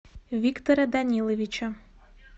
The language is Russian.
виктора даниловича